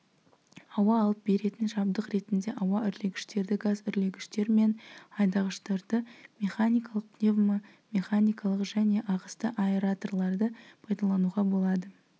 ауа алып беретін жабдық ретінде ауа үрлегіштерді газ үрлегіштер мен айдағыштарды механикалық пневмомеханикалық және ағысты аэраторларды пайдалануға болады